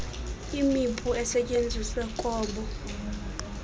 imipu esetyenziswe kobo